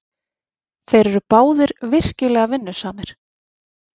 Þeir eru báðir virkilega vinnusamir.